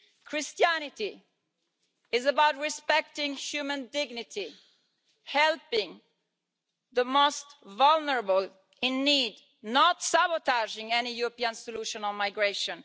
Christianity is about respecting human dignity and helping the most vulnerable in need, not sabotaging any European solution on migration.